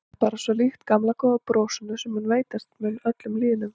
Það er bara svo líkt gamla góða brosinu sem veitast mun öllum lýðnum.